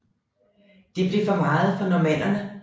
Det blev for meget for normannerne